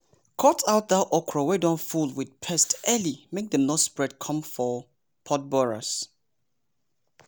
cut out dat okra wey don full with pest early make dem no spread come foh pod borers.